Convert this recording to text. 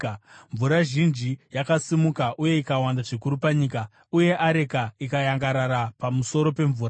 Mvura zhinji yakasimuka uye ikawanda zvikuru panyika, uye areka ikayangarara pamusoro pemvura.